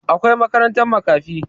Akwai makarantar makafi